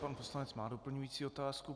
Pan poslanec má doplňující otázku.